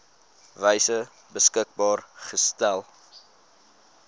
wyse beskikbaar gestel